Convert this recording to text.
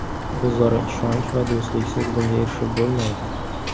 O‘zaro ishonch va do‘stliksiz bunga erishib bo‘lmaydi.